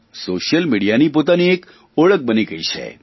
social મીડિયાની પોતાની એક ઓળખ બની ગઇ છે